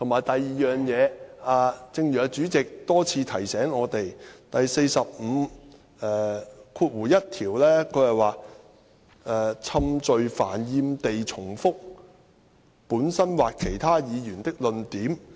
第二，正如主席多次提醒我們，《議事規則》第451條是有關"冗贅煩厭地重複本身或其他議員的論點"。